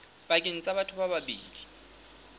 pakeng tsa batho ba babedi